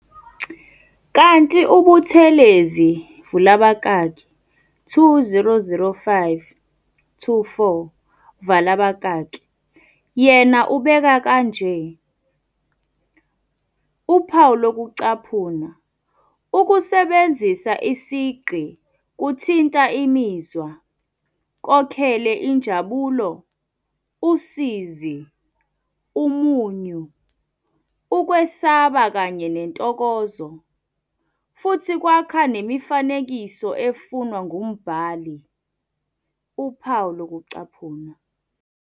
Kanti uButhelezi vula abakaki 2005-24 vala abakaki yena ubeka kanje- "Ukusebenzisa isigqi kuthinta imizwa, kokhele injabulo, usizi, umunyu, ukwesaba kanye nentokozo, futhi kwakha nemifanekiso efunwa ngumbhali."